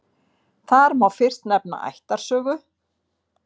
Þar má fyrst nefna ættarsögu.